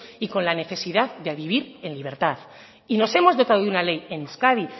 y la necesidad de vivir en libertad y nos hemos dotado de una ley en euskadi